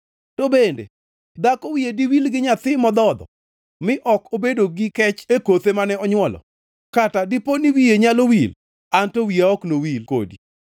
“To bende dhako wiye diwil gi nyathi modhodho mi ok obedo gi kech e kothe mane onywolo. Kata ka dipo ni wiye nyalo wil, An to wiya ok nowil kodi.